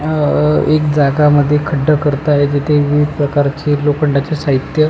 अह एक जागामध्ये खड्डा करत आहेत तिथे विविध प्रकारचे लोखंडाचे साहित्य--